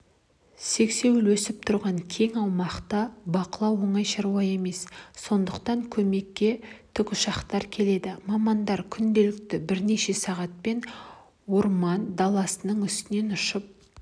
сексеуіл өсіп тұрған кең аумақты бақылау оңай шаруа емес сондықтан көмекке тіұшақтар келеді мамандар күнделікті бірнеше сағаттап орман даласының үстінен ұшып